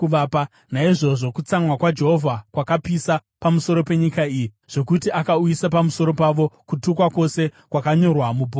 Naizvozvo kutsamwa kwaJehovha kwakapisa pamusoro penyika iyi, zvokuti akauyisa pamusoro payo kutukwa kwose kwakanyorwa mubhuku iri.